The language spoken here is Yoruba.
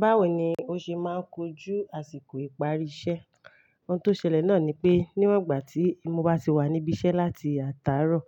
Báwo ni ó ṣe máa ń kojú àsìkò ìparí iṣẹ́? Ohun tó ṣẹlẹ̀ náà ni pé, níwọ̀n ìgbà tí mo bá ti wà níbí iṣẹ́ láti àta rọ̀,